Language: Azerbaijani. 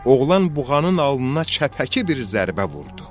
Oğlan buğanın alnına çəpəki bir zərbə vurdu.